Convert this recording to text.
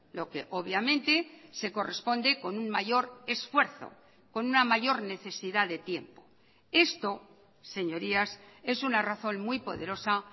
lo que obviamente se corresponde con un mayor esfuerzo con una mayor necesidad de tiempo esto señorías es una razón muy poderosa